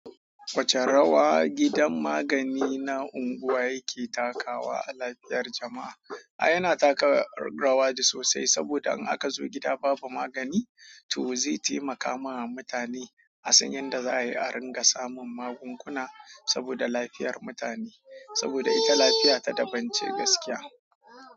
Wace rawa gidan magani na anguwa yake takawa a lafiyar jama'a. A yana taka rawaji sosai saboda in aka zo gida babu magani, to zai taimaka ma mutane a san yadda za a yi a ringa samun magunguna saboda lafiyar mutane. Saboda ita lafiya ta dabance gaskiya.